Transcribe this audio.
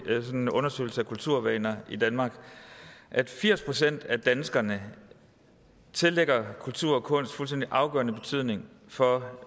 undersøgelse af kulturvaner i danmark at firs procent af danskerne tillægger kultur og kunst en fuldstændig afgørende betydning for